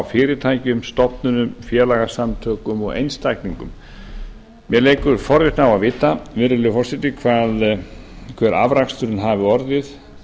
fyrirtækjum stofnunum félagasamtökum og einstaklingum mér leikur forvitni á að vita virðulegi forseti hver afraksturinn hafi orðið